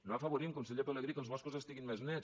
no afavorim conseller pelegrí que els boscos estiguin més nets